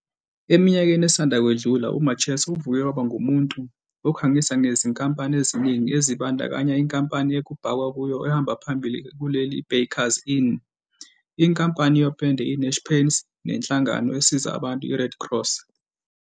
Eminyakeni esanda kwedlula uMacheso uvuke waba ngumuntu okhangisa ngezinkampani eziningi ezibandakanya inkampani ekubhakwa kuyo ehamba phambili kuleli iBakers Inn, inkampani yopende iNash Paints nenhlangano esiza abantu iRed Cross.